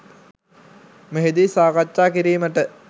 මෙහිදී සාකච්ඡා කිරීමට